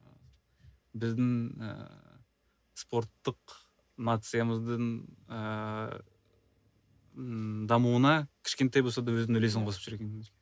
біздің ыыы спорттық нациямыздың ыыы дамуына кішкентай болса да өзінің үлесін қосып жүрген